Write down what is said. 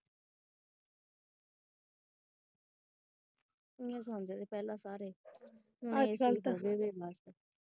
ਇਦਾਂ ਹੀ ਸੌਦੇ ਸੀ ਸਾਰੇ।